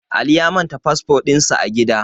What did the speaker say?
Ali ya manta fasfo din sa a gida